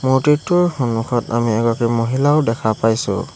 মূৰ্ত্তিটোৰ সন্মুখত আমি এগৰাকী মহিলাও দেখা পাইছোঁ।